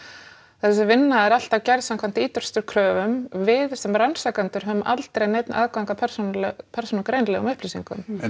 þessi vinna er alltaf gerð samkvæmt kröfum við sem rannsakendur höfum aldrei neinn aðgang að persónugreinanlegum upplýsingum en